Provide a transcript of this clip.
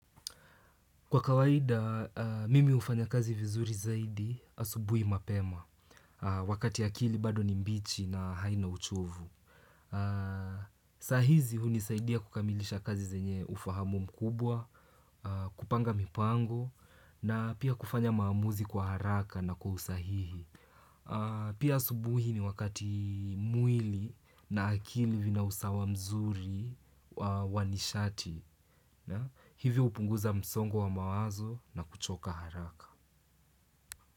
Kwa kawaida, mimi hufanya kazi vizuri zaidi, asubuhi mapema, wakati akili bado ni mbichi na haina uchovu. Sahizi, hunisaidia kukamilisha kazi zenye ufahamu mkubwa, kupanga mipango, na pia kufanya maamuzi kwa haraka na kwa usahihi. Pia asubuhi ni wakati mwili na akili vina usawa mzuri wa nishati. Na hivi hupunguza msongo wa mawazo na kuchoka haraka.